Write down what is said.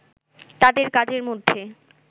তাদের কাজের মধ্যে